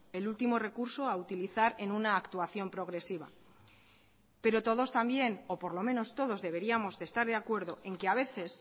el último recurso a utilizar en una actuación progresiva pero todos también o por lo menos todos deberíamos de estar de acuerdo en que a veces